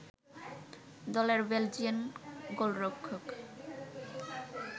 দলের বেলজিয়ান গোলরক্ষক